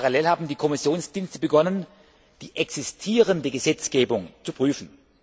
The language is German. Parallel haben die Kommissionsdienste begonnen, die existierende Gesetzgebung zu prüfen.